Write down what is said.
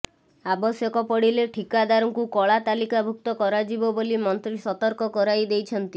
ଆବଶ୍ୟକ ପଡ଼ିଲେ ଠିକାଦାରଙ୍କୁ କଳା ତାଲିକାଭୁକ୍ତ କରାଯିବ ବୋଲି ମନ୍ତ୍ରୀ ସତର୍କ କରାଇ ଦେଇଛନ୍ତି